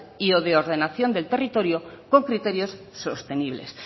y de ordenación del territorio por criterios sostenibles